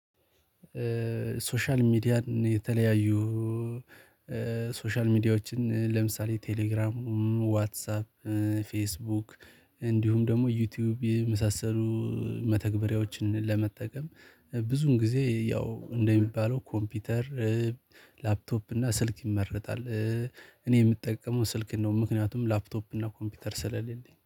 ሶሻል ሚዲያን የተለያዩ ሶሻል ሚዲያዎችን ለምሳሌ ቴሌግራም ዋትሳፕ ፌስቡክ እንዲሁም ደግሞ ዩቲዩብ የመሳሰሉ መተግበሪያዎችን ለመጠቀም ብዙን ጊዜ ያው እንደሚባለው ኮምፒውተር ላፕቶፕ እና ስልክ ይመረጣል። እኔ የምጠቀመው ስልክ ነው ምክንያቱም ላፕቶፕ እና ኮምፒውተር ስለሌለኝ